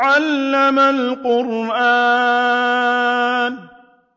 عَلَّمَ الْقُرْآنَ